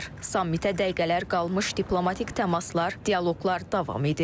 Sammitə dəqiqələr qalmış diplomatik təmaslar, dialoqlar davam edir.